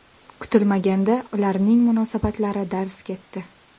Kutilmaganda, ularning munosabatlari darz ketdi.